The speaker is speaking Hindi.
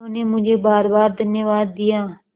उन्होंने मुझे बारबार धन्यवाद दिया